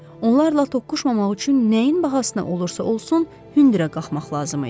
Onlarla toqquşmamaq üçün nəyin bahasına olursa olsun hündürə qalxmaq lazım idi.